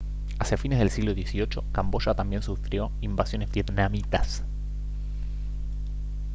hacia fines del siglo xviii camboya también sufrió invasiones vietnamitas